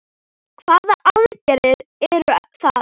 Hvaða aðgerðir eru það?